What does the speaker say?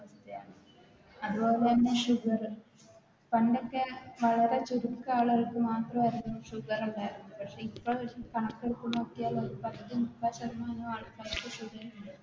അതുപോലെന്നെ Sugar പണ്ടൊക്കെ വളരെ ചുരുക്കം ആളുകൾക്ക് മാത്രമായിരുന്നു Sugar ഉണ്ടാക്കുന്നത് പക്ഷെ ഇപ്പോ ഒര് കാണാക്കടുത്ത് നോക്കിയാൽ ഒരു പകുതി മുപ്പ ശതമാനം ആൾക്കാർക്ക് Sugar ഇണ്ട്